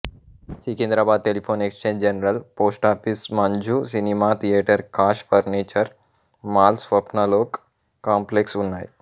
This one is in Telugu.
Secunderabad telephone exchange general post office Manju cinema theatre cash furniture mall Swapnalok complex ఉన్నాయి